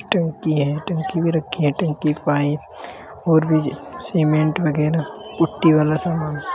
टंकी है। टंकी भी रखी है। टंकी पाइप और भी सीमेंट वगैरा पुट्टी वाला सामान --